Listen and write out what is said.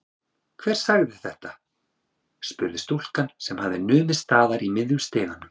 Hver er þetta? spurði stúlkan sem hafði numið staðar í miðjum stiganum.